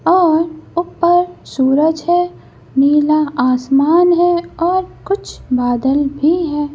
और ऊपर सूरज है नीला आसमान है और कुछ बादल भी है।